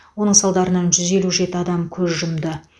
оның салдарынан жүз елу жеті адам көз жұмды